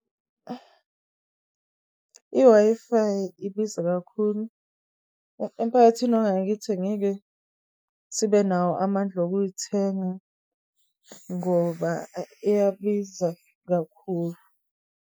I-Wi-Fi ibiza kakhulu. Emphakathini wangakithi, angeke sibe nawo amandla wokuyithenga, ngoba iyabiza kakhulu.